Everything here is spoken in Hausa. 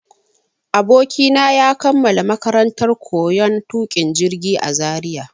Abokina ya kammala makarantar koyon tuƙin jirgi a Zaria.